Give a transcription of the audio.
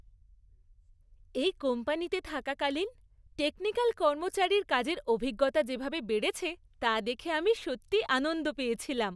এই কোম্পানিতে থাকাকালীন টেকনিকাল কর্মচারীর কাজের অভিজ্ঞতা যেভাবে বেড়েছে তা দেখে আমি সত্যিই আনন্দ পেয়েছিলাম।